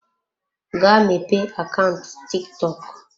Gaa mepee akaụntụ TikTok.